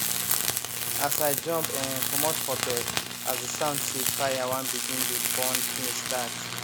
as i jump um comot for bed as the sound say fire wan begin dey burn things start